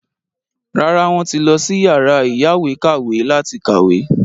Rárá, wọ́n lọ sí yàrá ìyáwèékàwé láti kàwé.